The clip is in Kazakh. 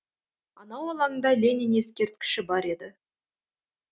анау алаңда ленин ескерткіші бар еді